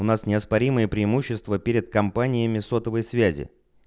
у нас неоспоримые преимущества перед компаниями сотовой связи